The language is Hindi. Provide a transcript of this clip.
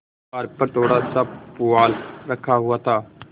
द्वार पर थोड़ासा पुआल रखा हुआ था